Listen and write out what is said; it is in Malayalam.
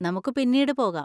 നമുക്ക് പിന്നീട് പോകാം.